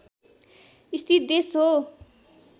स्थित देश हो